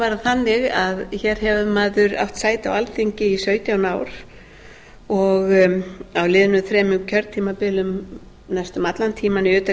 bara þannig að hér hefur maður átt sæti á alþingi í sautján ár og á liðnum þremur kjörtímabilum næstum allan tímann í